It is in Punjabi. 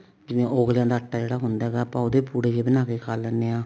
ਜਿਵੇਂ ਉਗਲਿਆ ਦਾ ਆਟਾ ਜਿਹੜਾ ਹੁੰਦਾ ਹੈਗਾ ਆਪਾਂ ਉਹਦੇ ਪੁੜੇ ਜੇ ਬਣਾ ਕੇ ਖਾ ਲੈਂਨੇ ਆ